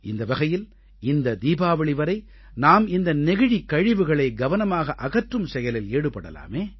இந்த வகையில் இந்த தீபாவளி வரை நாம் இந்த நெகிழிக் கழிவுகளை கவனமாக அகற்றும் செயலில் ஈடுபடலாமே